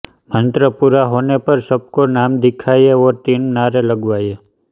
मन्त्र पूरा होने पर सबको नाम दिखाएँ और तीन नारे लगवाएँ